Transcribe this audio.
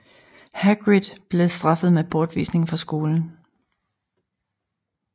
Hagrid blev straffet med bortvisning fra skolen